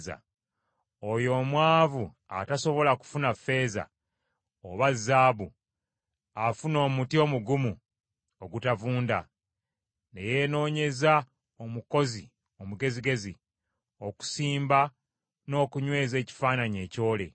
Oyo omwavu atasobola kufuna ffeeza oba zaabu afuna omuti omugumu ogutavunda ne yenoonyeza omukozi omugezigezi okusimba n’okunyweza ekifaananyi ekyole.